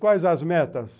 Quais as metas?